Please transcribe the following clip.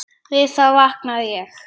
Við það vaknaði ég.